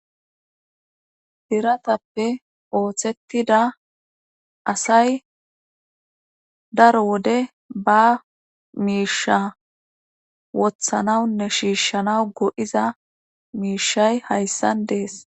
biratappe ooththettida asay daro wode ba miisha wothanawunne shiishshana go7iza miishay hayssan dees